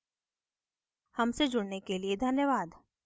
हमसे जुड़ने के लिए धन्यवाद